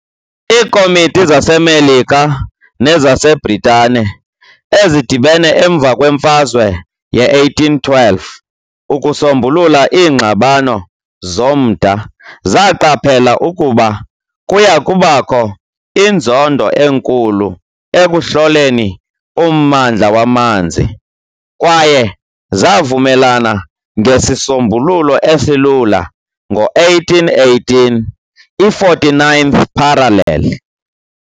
Iikomiti zaseMelika nezaseBritane ezidibene emva kweMfazwe ye-1812 ukusombulula iingxabano zomda zaqaphela ukuba kuya kubakho inzondo enkulu ekuhloleni ummandla wamanzi, kwaye zavumelana ngesisombululo esilula ngo-1818, i-49th parallel.